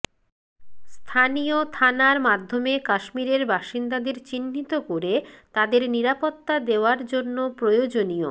স্থানীয় থানার মাধ্যমে কাশ্মীরের বাসিন্দাদের চিহ্নিত করে তাঁদের নিরাপত্তা দেওয়ার জন্য প্রয়োজনীয়